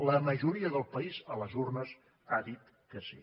la majoria del país a les urnes ha dit que sí